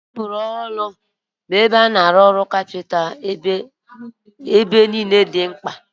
Tebụlu ọrụ bụ ebe a na-arụ ọrụ kapịnta niile dị mkpa